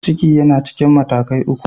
Ciki yana cikin matakai uku.